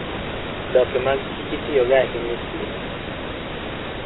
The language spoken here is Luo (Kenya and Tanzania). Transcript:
odoke mag kich itiyogo ahinya e thieth.